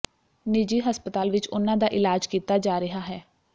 ਨਿਜੀ ਹਸਪਤਾਲ ਵਿੱਚ ਉਨ੍ਹਾਂ ਦਾ ਇਲਾਜ ਕੀਤਾ ਜਾ ਰਿਹਾ ਹੈ